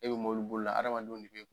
E bɛ mɔbili bolila adamadenw de kun,